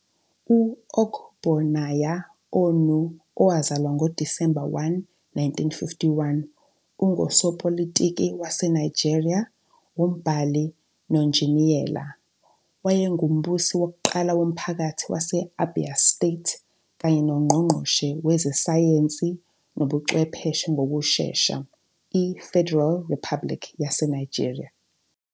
U-Ogbonnaya Onu, owazalwa ngoDisemba 1, 1951, ungusopolitiki waseNigeria, umbhali nonjiniyela. Wayengumbusi wokuqala womphakathi wase- Abia State kanye noNgqongqoshe Wezesayensi Nobuchwepheshe ngokushesha, iFederal Republic yaseNigeria.